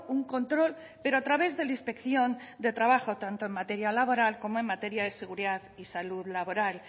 un control pero a través de la inspección de trabajo tanto en materia laboral como en materia de seguridad y salud laboral